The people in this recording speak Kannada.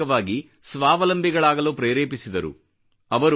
ಆರ್ಥಿಕವಾಗಿ ಸ್ವಾವಲಂಬಿಗಳಾಗಲು ಪ್ರೇರೇಪಿಸಿದರು